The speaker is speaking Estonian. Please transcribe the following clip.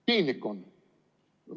Piinlik on!